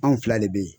Anw fila de be yen